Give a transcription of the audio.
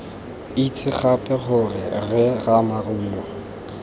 itse gape gore rre ramarumo